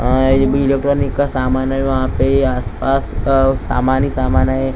Electronic का समान हैं वहाँ पे आस पास अ सामान ही सामान हैं।